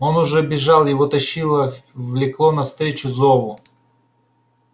он уже бежал его тащило влекло навстречу зову